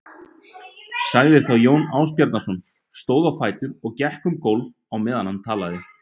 sagði þá Jón Ásbjarnarson, stóð á fætur og gekk um gólf á meðan hann talaði